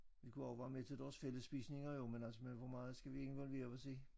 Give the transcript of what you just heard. Vi kunne også være med til deres fællesspisninger jo men altså men hvor meget skal vi involvere os i